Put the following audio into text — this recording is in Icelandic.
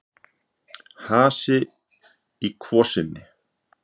Hasi í kvosinni